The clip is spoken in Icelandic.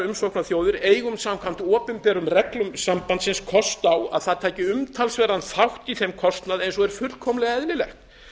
umsóknarþjóðir eigum samkvæmt opinberum reglum sambandsins kost á að það taki umtalsverðan þátt í þeim kostnaði eins og er fullkomlega eðlilegt